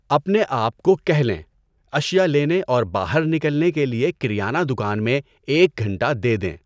اپنے آپ کو کہہ لیں، اشیاء لینے اور باہر نکلنے کے لیے کریانہ دکان میں ایک گھنٹہ دے دیں۔